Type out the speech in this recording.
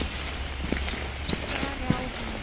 Stari á hana.